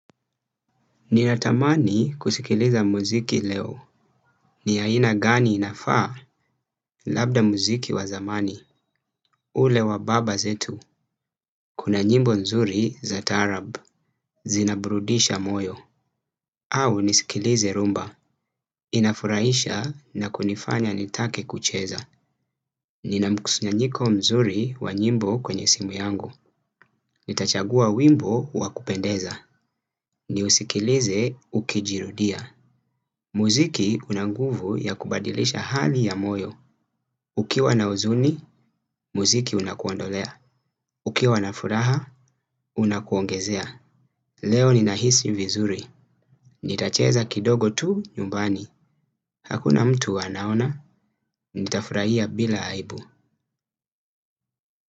Ninatamani kusikiliza muziki leo. Ni haina gani inafaa labda muziki wa zamani. Ule wa baba zetu. Kuna nyimbo nzuri za tarab. Zinabrudisha moyo. Au nisikilize rumba. Inafuraisha na kunifanya nitake kucheza. Ninamkusunyanyiko mzuri wa nyimbo kwenye simu yangu. Nitachagua wimbo wakupendeza. Ni usikilize ukijirudia. Muziki unanguvu ya kubadilisha hali ya moyo. Ukiwa na uzuni, muziki unakuondolea. Ukiwa na furaha, unakuongezea. Leo ni nahisi vizuri. Nitacheza kidogo tu nyumbani. Hakuna mtu wanaona, nitafurahia bila haibu.